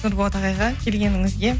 нұрболат ағайға келгеніңізге